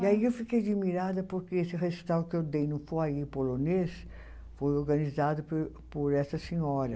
E aí eu fiquei admirada porque esse recital que eu dei no polonês foi organizado por por essa senhora.